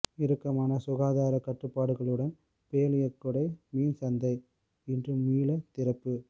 இறுக்கமான சுகாதார கட்டுப்பாடுகளுடன் பேலியகொடை மீன் சந்தை இன்று மீள திறப்பு